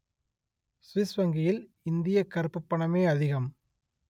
Swiss வங்கியில் இந்தியக் கறுப்புப் பணமே அதிகம்